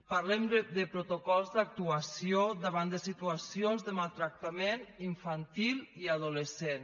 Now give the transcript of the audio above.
parlem de protocols d’actuació davant de situacions de maltractament infantil i adolescent